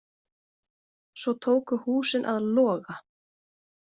Svo tóku húsin að loga.